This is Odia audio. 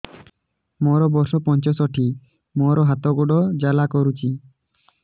ମୋର ବର୍ଷ ପଞ୍ଚଷଠି ମୋର ହାତ ଗୋଡ଼ ଜାଲା କରୁଛି